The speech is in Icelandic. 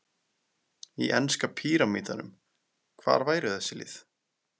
Í enska píramídanum, hvar væru þessi lið?